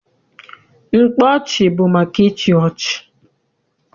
Mkpa ọchị bụ maka ịchị ọchị.